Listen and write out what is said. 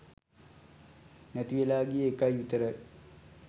නැතිවෙලා ගිය එකයි විතරයි.